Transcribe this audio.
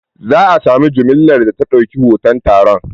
Za a sami mujallar da ta ɗauki hoton taron.